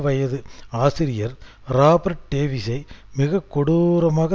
வயது ஆசிரியர் ராபர்ட் டேவிசை மிக கொடூரமாக